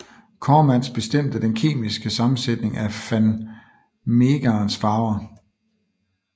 Coremans bestemmte den kemiske sammensætning af van Meegerens farver